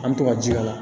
An bɛ to ka ji k'a la